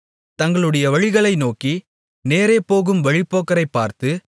தங்களுடைய வழிகளை நோக்கி நேரே போகும் வழிப்போக்கர்களைப் பார்த்து